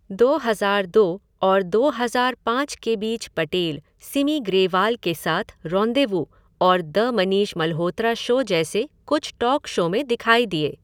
दो हज़ार दो और दो हज़ार पाँच के बीच पटेल सिमी ग्रेवाल के साथ रेंन्डेवू और द मनीष मल्होत्रा शो जैसे कुछ टॉक शो में दिखाई दिए।